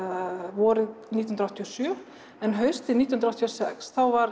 vorið nítján hundruð áttatíu og sjö en haustið nítján hundruð áttatíu og sex þá var